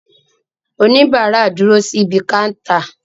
Òníbarà dúró síbi káńtà